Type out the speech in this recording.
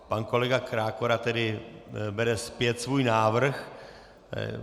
Pan kolega Krákora tedy bere zpět svůj návrh.